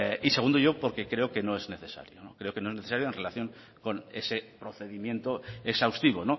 y segundo porque creo que no es necesario creo que no es necesario en relación con ese procedimiento exhaustivo